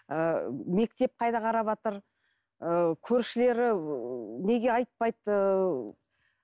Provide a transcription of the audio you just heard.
ыыы мектеп қайда қараватыр ы көршілері ыыы неге айтпайды ыыы